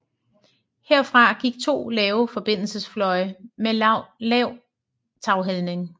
Herfra gik to lave forbindelsesfløje med lav taghældning